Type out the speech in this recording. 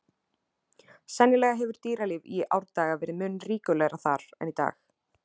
Sennilega hefur dýralíf í árdaga verið mun ríkulegra þar en í dag.